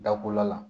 Dabɔla la